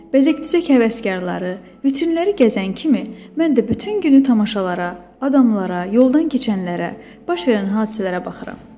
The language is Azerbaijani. Bəzək-düzək həvəskarları, vitrinləri gəzən kimi, mən də bütün günü tamaşalara, adamlara, yoldan keçənlərə, baş verən hadisələrə baxıram.